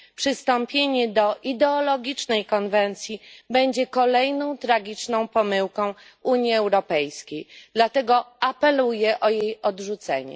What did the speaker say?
Przystąpienie do ideologicznej konwencji będzie kolejną tragiczną pomyłką Unii Europejskiej, dlatego apeluję o jej odrzucenie.